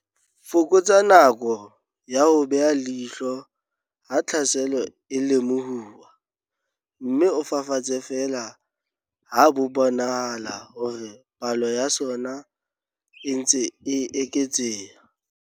Fokotsa nako ya ho beha leihlo ha tlhaselo e lemohuwa, mme o fafatse feela ha bo bonahala hore palo ya sona e ntse e eketseha.